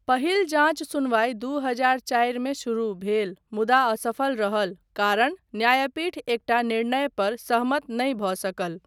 पहिल जाञ्च सुनवाइ दू हजार चारिमे शुरू भेल मुदा असफल रहल कारण न्यायपीठ एकटा निर्णय पर सहमत नहि भऽ सकल।